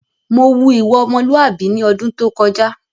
Mò wù ìwà ọmọ́lùàbí ní ọdún tó kọjá